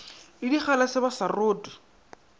le digalase ba sa rothe